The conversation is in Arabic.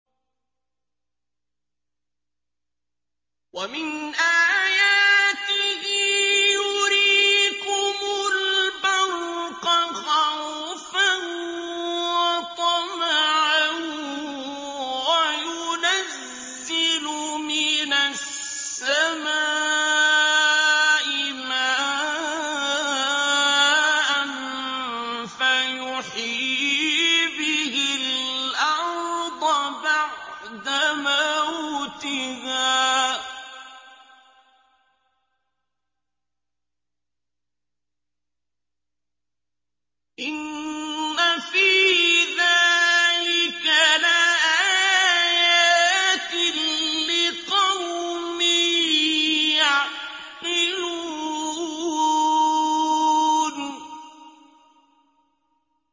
وَمِنْ آيَاتِهِ يُرِيكُمُ الْبَرْقَ خَوْفًا وَطَمَعًا وَيُنَزِّلُ مِنَ السَّمَاءِ مَاءً فَيُحْيِي بِهِ الْأَرْضَ بَعْدَ مَوْتِهَا ۚ إِنَّ فِي ذَٰلِكَ لَآيَاتٍ لِّقَوْمٍ يَعْقِلُونَ